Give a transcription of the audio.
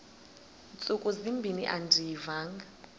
ntsuku zimbin andiyivanga